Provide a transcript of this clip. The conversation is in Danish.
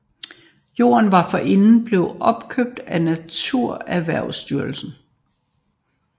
Jorden var forinden blevet opkøbt af NaturErhvervstyrelsen